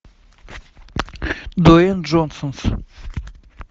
дуэйн джонсонс